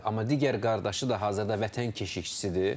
Amma digər qardaşı da hazırda vətən keşiyçisidir.